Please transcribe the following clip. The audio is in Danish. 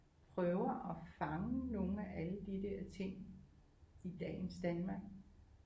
Prøver at fange nogle af alle de der ting i dagens Danmark